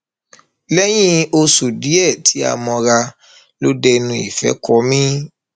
lẹyìn oṣù díẹ tí a mọra ló dẹnu ìfẹ kọ mí